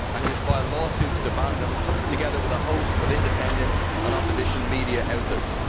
He has also filed lawsuits to ban them, together with a host of independent and opposition media outlets.